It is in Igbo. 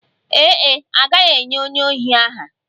Ee e, a gaghị enye onye ohi aha